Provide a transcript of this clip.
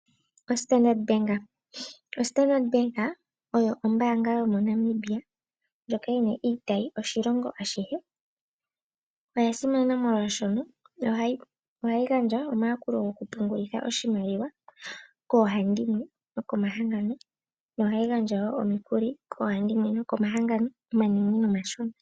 Ostandard bank, oStandard bank oyo ombaanga yomo Namibia ndjoka yina iitayi oshilongo ashihe. Oya simana molwashono ohayi gandja omayakulo goku pungulitha oshimaliwa koo handimwe noko mahangono yo ohayi gandja omikuli koo handimwe noko mahangono omanene no mashona.